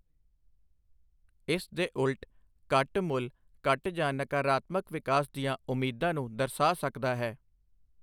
ਇਸ ਦੇ ਉਲਟ, ਘੱਟ ਮੁੱਲ ਘੱਟ ਜਾਂ ਨਕਾਰਾਤਮਕ ਵਿਕਾਸ ਦੀਆਂ ਉਮੀਦਾਂ ਨੂੰ ਦਰਸਾ ਸਕਦਾ ਹੈ।